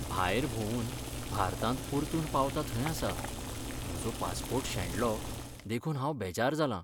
भायर भोंवून भारतांत परतून पावता थंय आसा, म्हजो पासपोर्ट शेणलो देखून हांव बेजार जालां.